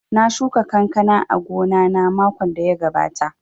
Na shuka kankana a gona na makon da ya gabata